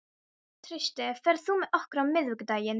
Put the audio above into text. Trausti, ferð þú með okkur á miðvikudaginn?